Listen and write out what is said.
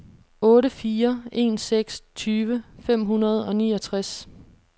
otte fire en seks tyve fem hundrede og niogtres